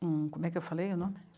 um. Como é que eu falei o nome?